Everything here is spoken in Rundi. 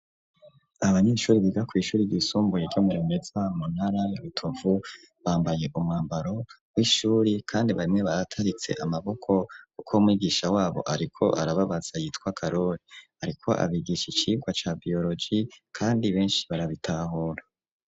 Abanyeshuri biga kw'ishuri ryisumbuye ryo mu Rumeza mu ntara ya Rutovu bambaye umwambaro w'ishuri kandi bamwe barataritse amaboko kuko mwigisha wabo ariko arababaza yitwa Karori ariko abigisha icirwa cya biyoroji kandi beshi barabitahura.